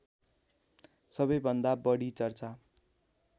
सबैभन्दा बढी चर्चा